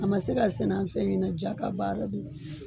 A ma se ka sɛnɛ an fɛ ɲinɛ ja ka baara don.